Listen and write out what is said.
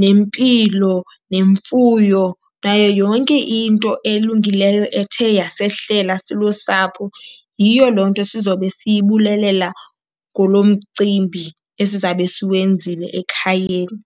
nempilo, nemfuyo nayo yonke into elungileyo ethe yasehlela silusapho. Yiyo loo nto sizobe siyibulelela kulo mcimbi esizabe siwenzile ekhayeni.